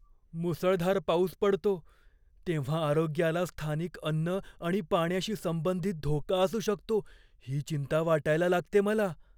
मुसळधार पाऊस पडतो तेव्हा आरोग्याला स्थानिक अन्न आणि पाण्याशी संबंधित धोका असू शकतो ही चिंता वाटायला लागते मला.